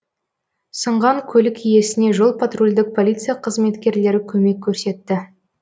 сынған көлік иесіне жол патрульдік полиция қызметкерлері көмек көрсетті